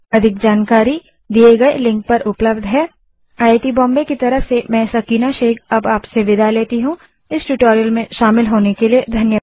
अधिक जानकारी दिए गए लिंक पर उपलब्ध है httpspoken tutorialorgNMEICT Intro यह स्क्रिप्ट देवेन्द्र कैरवान द्वारा अनुवादित है तथा आई आई टी बॉम्बे की तरफ से मैं सकीना अब आप से विदा लेती हूँ